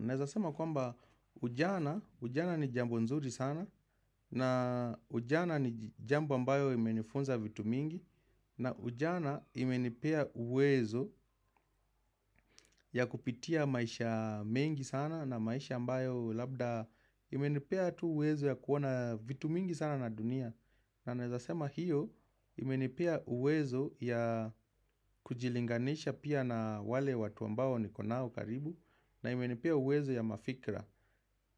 Naeza sema kwamba ujana, ujana ni jambo nzuri sana na ujana ni jambo ambayo imenifunza vitu mingi na ujana imenipa uwezo ya kupitia maisha mengi sana na maisha ambayo labda imenipea tu uwezo ya kuona vitu mingi sana na dunia. Na Naeza sema hiyo imenipia uwezo ya kujilinganisha pia na wale watu ambao niko nao karibu na imenipea uwezo ya mafikra.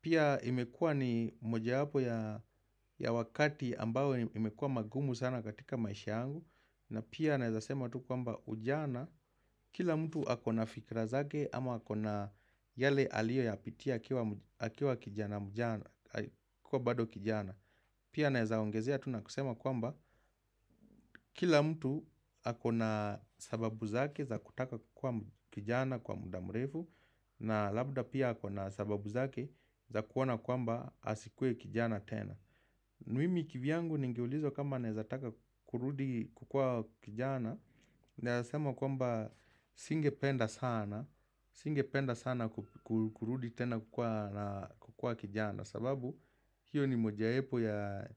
Pia imekua ni mojawapo ya wakati ambao imekua magumu sana katika maisha tangu na pia naeza sema tu kwamba ujana Kila mtu akona fikra zake ama ako na yale aliyo yapitia akiwa kijana kuwa bado kijana Pia naeza ongezea tu na kusema kwamba Kila mtu ako na sababu zake za kutaka kuwa kijana kwa muda. Mrefu na labda pia ako na sababu zake za kuona kwamba asikue kijana tena mimi kivyangu ningeulizo kama naeza taka kurudi kukua kijana Naeza sema kwamba singependa sana singependa sana kurudi tena kukua kijana sababu hiyo ni mojaepo ya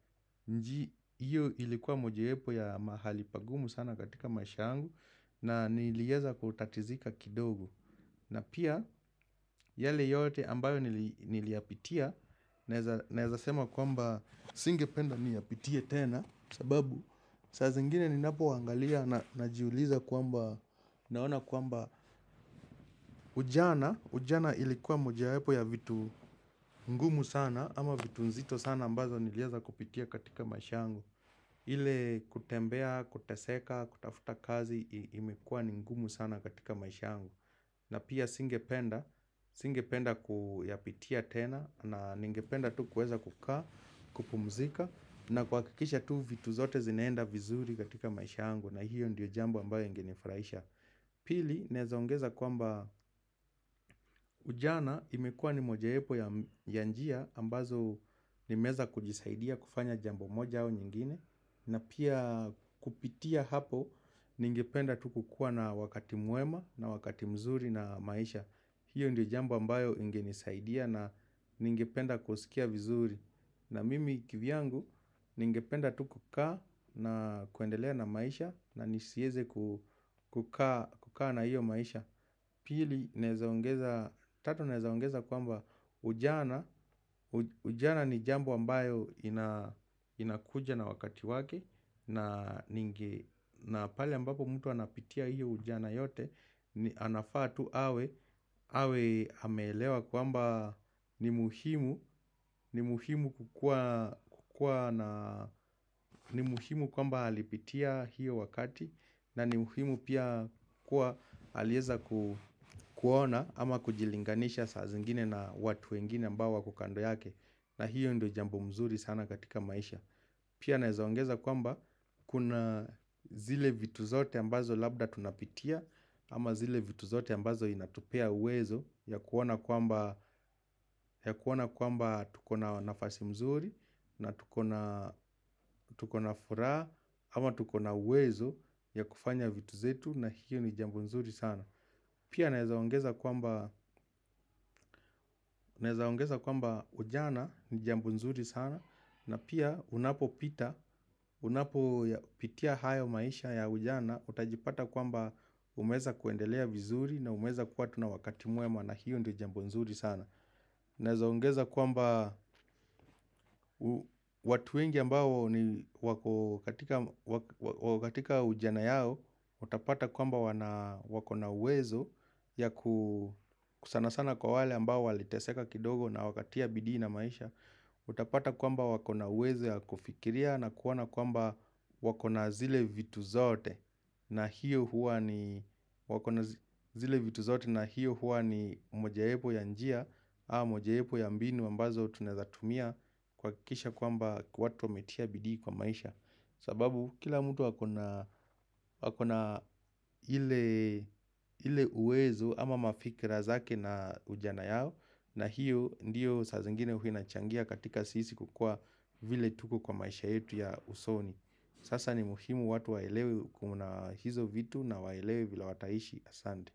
nji Iyo ilikuwa mojaepo ya mahali pagumu sana katika maisha yangu na niliweza kutatizika kidogo na pia yale yote ambayo niliyapitia naeza sema kwamba singependa niyapitie tena sababu saa zingine ninapo angalia najiuliza kwamba naona kwamba ujana Ujana ilikuwa mojawapo ya vitu ngumu sana ama vitu nzito sana ambazo niliweza kupitia katika maishangu ile kutembea, kuteseka, kutafuta kazi imekua ni ngumu sana katika maisha yangu na pia singependa, singependa kuyapitia tena na ningependa tu kueza kukaa, kupumzika na kuhakikisha tu vitu zote zinaenda vizuri katika maisha yangu na hiyo ndio jambo ambayo inginifurahisha. Pili, nnezoongeza kwamba ujana imekua ni mojaepo ya njia ambazo nimeweza kujisaidia kufanya jambo moja au nyingine. Na pia kupitia hapo ningependa tu kukua na wakati mwema na wakati mzuri na maisha hiyo ndio jambo ambayo ingenisaidia na ningependa kusikia vizuri na mimi kivyangu nyingependa tu kukaa na kuendelea na maisha na nisieze kukua na hiyo maisha Pili, tatu naeza ongeza kwamba ujana, ujana ni jambo ambayo inakuja na wakati wake na pale ambapo mtu anapitia hiyo ujana yote, anafaa tu awe, awe ameelewa kwamba ni muhimu ni muhimu kwamba alipitia hiyo wakati na ni muhimu pia kuwa aliweza kuona ama kujilinganisha saa zingine na watu wengine ambao wako kando yake na hiyo ndo jambo mzuri sana katika maisha Pia naeza ongeza kwamba kuna zile vitu zote ambazo labda tunapitia ama zile vitu zote ambazo inatupea uwezo ya kuona kwamba tuko na nafasi mzuri na tukona furaha ama tuko na uwezo ya kufanya vitu zetu na hiyo ni jambo nzuri sana Pia naeza ongeza kwamba ujana ni jambo nzuri sana na pia unapo pita, unapo pitia hayo maisha ya ujana Utajipata kwamba umeweza kuendelea vizuri na umeweza kuwa tu na wakati mwema na hiyo ni jambo nzuri sana Naeza ongeza kwamba watu wengi ambao ni wako katika ujana yao Utapata kwamba wana wako na uwezo yaku sana sana kwa wale ambao waliteseka kidogo na wakatia bidii na maisha Utapata kwamba wakona uwezo ya kufikiria na kuona kwamba wakona zile vitu zote na hiyo huwa ni wakona zile vitu zote na hiyo huwa ni mojaepo ya njia au mojaepo ya mbinu ambazo tunaezatumia kuhakikisha kwamba watu wametia bidii kwa maisha sababu kila mtu akona ile uwezo ama mafikra zake na ujana yao na hiyo ndiyo sasa zingine huwa inachangia katika sisi kukua vile tuko kwa maisha yetu ya usoni Sasa ni muhimu watu waelewe kuna hizo vitu na waelewe vile wataishi asante.